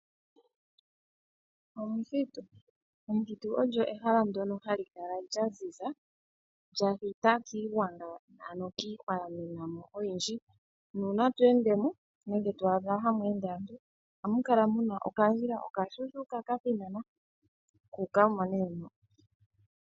Omuthitu olyo ehala ndyono hali kala lyaziza. Olya thita kiigwanga ano kiihwa ya mena oyindji. Uuna to ende mo nenge to adha tamu ende aantu ohamu kala mu na okandjila okashuushuuka kathinana kuuka mo moka.